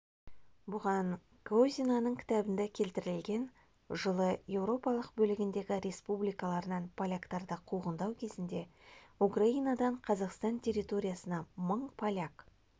бұған козинаның кітабында келтірілген жылы еуропалық бөлігіндегі республикаларынан поляктарды қуғындау кезінде украинадан қазақстан территориясына мың поляк